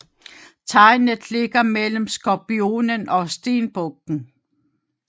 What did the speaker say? Tegnet ligger mellem Skorpionen og Stenbukken